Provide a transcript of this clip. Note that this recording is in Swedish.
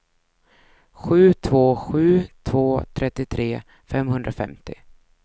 sju två sju två trettiotre femhundrafemtio